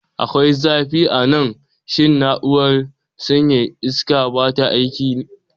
Akwai zafi a nan. Shin na'urar sanyaya iska ba ta aiki?